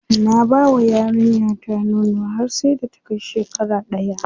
Na bawa yarinya ta nono har sai da ta kai shekara daya.